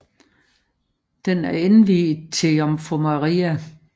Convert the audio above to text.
Den er indviet til Jomfru Maria